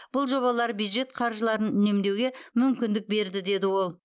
бұл жобалар бюджет қаржыларын үнемдеуге мүмкіндік берді деді ол